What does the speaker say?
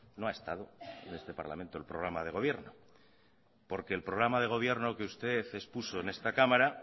no ha estado en este parlamento el programa de gobierno porque el programa de gobierno que usted expuso en esta cámara